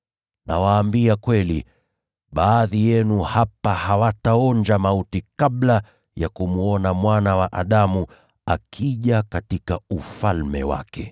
Nawaambia kweli, baadhi yenu hapa hawataonja mauti kabla ya kumwona Mwana wa Adamu akija katika Ufalme wake.”